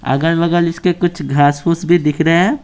अगल-बगल इसके कुछ घास-फूस भी दिख रहे हैं।